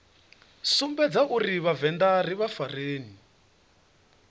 sumbedza uri vhavenḓa ri farane